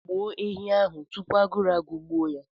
Gbuo ehi ahụ tupu agụụ agụgbuo ya!